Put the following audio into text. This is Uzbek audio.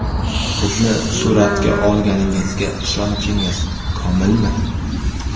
Bizni suratga olganingizga ishonchingiz komilmi?